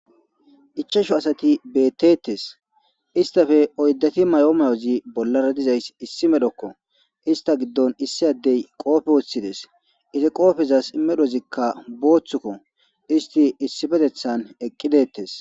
ichashu asati beettettes istafe oyddati may7oomayozi bollara dizays issi medhokko ista giddon issi addey qoofe woththides iza qoofezas medhozikka booththukko isti issi petethan eqqidettes